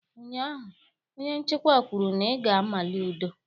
Ụnyaahụ, onye nchịkwa kwuru na ị ga-amali ụdọ!